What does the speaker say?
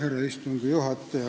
Härra istungi juhataja!